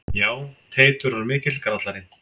Já, Teitur var mikill grallari.